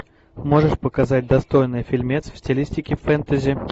можешь показать достойный фильмец в стилистике фэнтези